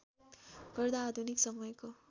गर्दा आधुनिक समयको